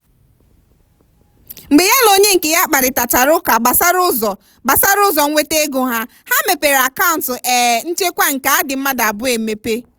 mgbe ya na onye nke ya kparịtachara ụka gbasara ụzọ gbasara ụzọ nweta ego ha ha mepere akant um nchekwa ego nke adị mmadụ abụọ emepe.